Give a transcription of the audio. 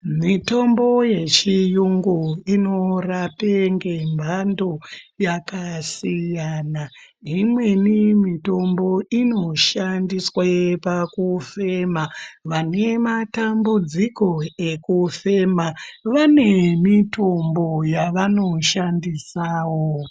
Mitombo yechiyungu inorape ngemhando yakasiyana. Imweni mitombo inoshandiswe pakufema. Vane matambudziko nekufema vane mitombo yavanoshandisawo.